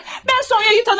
Mən Sonyanı tanımazmıyam?